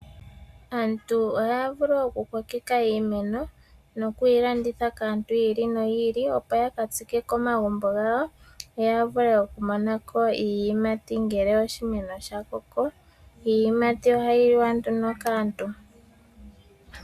Aantu ohaya vulu okukokeka iimeno nokuyi landitha kaantu yi ili noyi ili, opo ya ka tsike komagumbo gawo yo ya vule okumona ko iiyimati ngele oshimeno sha koko. Iiyimati ohayi liwa nduno kaantu.